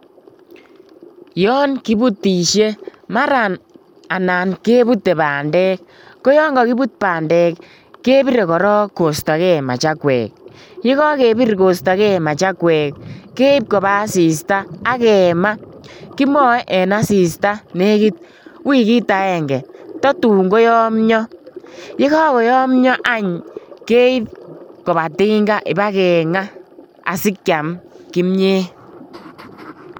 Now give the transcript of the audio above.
Yon kibutisie maran anan kebutei bandek ko yon kakibut bandek kebire korok kostoke machakwek, ye kakebir kostoke machakwek, keib koba asista ak kema, kimoe en asista nekit wikit akenge tatun koyomnyo, ye kakoyomnyo any keib koba tinga ibakenga asikiam kimiet.